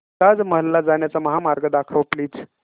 ताज महल ला जाण्याचा महामार्ग दाखव प्लीज